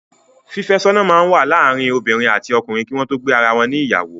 Fífẹ́sọ́nà máa ń wà láàárín obiinrìn àti ọkunrìn kí wọn tó gbé ara wọn ní ìyàwó.